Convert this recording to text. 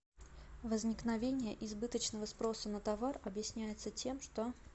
возникновение избыточного спроса на товар объясняется тем что